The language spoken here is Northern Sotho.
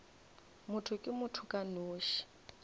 motho ke motho ka nosi